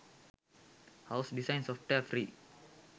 house design software free